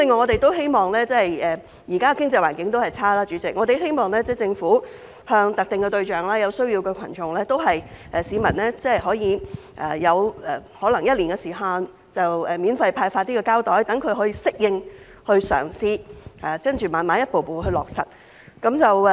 代理主席，現在的經濟環境仍然差，我們希望政府向特定對象、有需要的群眾和市民提供可能是一年的時限，免費派發膠袋，讓他們適應和嘗試，然後逐步落實。